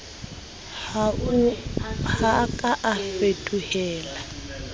ha a ka a fetohela